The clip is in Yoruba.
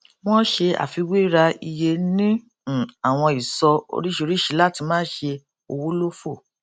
wọn ṣe àfiwéra iye ní um àwọn ìsọ oríṣiríṣi láti má ṣe owó lófò